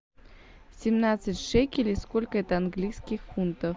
семнадцать шекелей сколько это английских фунтов